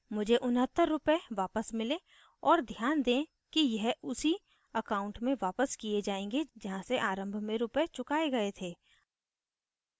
money 69 उनहत्तर रूपए वापस मिले और ध्यान दें कि यह उसी account में वापस किये जायेंगे जहाँ से आरम्भ में रूपए चुकाये गए थे